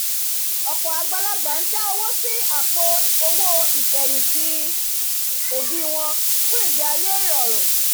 ọ̀pọ̀ àgbàlagbà ń dá owó sí àpò owó ìfẹ̀yìntì òbí wọn fún ìgbé ayé ìrọ̀rùn